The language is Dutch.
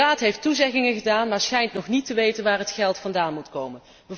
De Raad heeft toezeggingen gedaan maar schijnt nog niet te weten waar het geld vandaan moet komen.